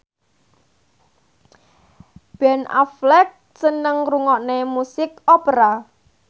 Ben Affleck seneng ngrungokne musik opera